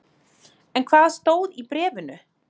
En hvað stóð í bréfinu?